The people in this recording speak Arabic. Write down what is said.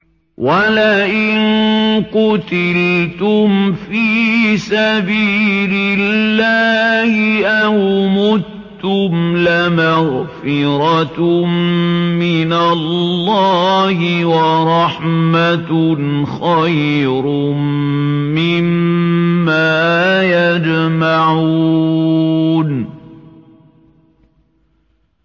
وَلَئِن قُتِلْتُمْ فِي سَبِيلِ اللَّهِ أَوْ مُتُّمْ لَمَغْفِرَةٌ مِّنَ اللَّهِ وَرَحْمَةٌ خَيْرٌ مِّمَّا يَجْمَعُونَ